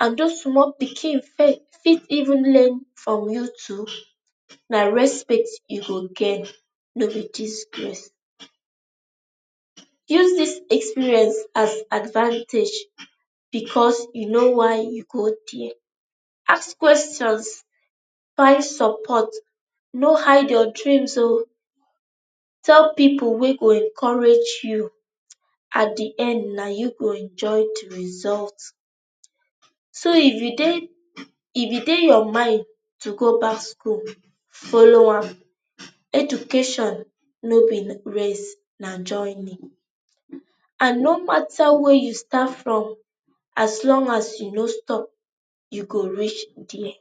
and those small pikin fit even learn from you too na respect you go gain, no be disgrace use this experience as advantage because you know why you go there. ask questions, find support, no hide your dreams ooo tell people wey go encourage you at the end na you go enjoy the result. so if you dey if e dey your mind to go back school, follow am. Education no be race na jawney and no matter where you start from as long as you no stop you go reach there.